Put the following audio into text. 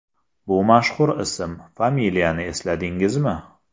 Bu mashhur ism, familiyani esladingizmi?